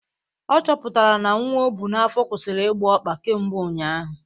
Ọ chọpụtara n'nwa ọbụ n'afọ kwusịrị ịgba ọkpa kemgbe ụnyaahụ